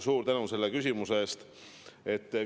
Suur tänu selle küsimuse eest!